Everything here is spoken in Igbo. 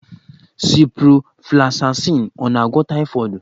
Ciproflosasịn ọ na-agwọ taịfọdụ?